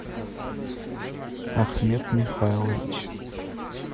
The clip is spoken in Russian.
ахмед михайлович